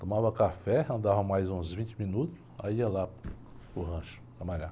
Tomava café, andava mais uns vinte minutos, aí ia lá para o rancho trabalhar.